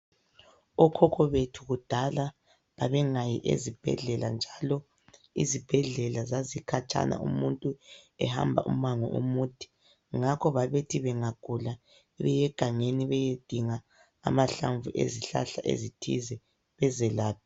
Okhokho bethu kudala babengayi ezibhedlela njalo izibhedlela zazikhatshana, umuntu ehamba umango omude. Ngakho babethi bengagula beyegangeni beyedinga amahlamvu ezihlahla ezithize bazelaphe.